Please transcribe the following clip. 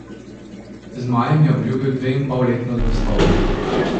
Zmajem je obljubil dveinpolletno zvestobo.